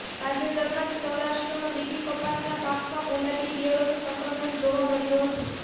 તાજેતરમાં જ સૌરાષ્ટ્રમાં બીટી કપાસના પાકમાં ગુલાબી ઇયળોનું સંક્રમણ જોવા મળ્યુ હતું